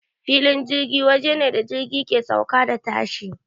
Filin jirgi waje ne da jirgi ke sauka da tashi.